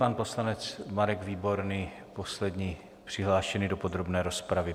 Pan poslanec Marek Výborný, poslední přihlášený do podrobné rozpravy.